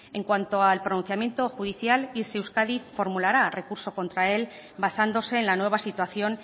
en cuanto al pronunciamiento judicial irse euskadi formulará recurso contra él basándose en la nueva situación